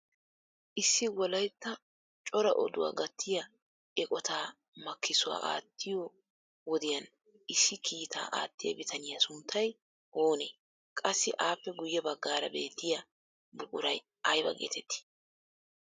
Issi wolaytta cora oduwaa gattiyaa eqootaa makissuwaa aattiyo wodiyaan issi kiitaa aattiyaa bitaniyaa sunttay oonee? Qassi appe guye baggaara beettiyaa buquray ayba getettii?